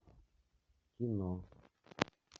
кино